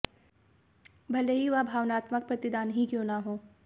भले ही वह भावनात्मक प्रतिदान ही क्यों न हो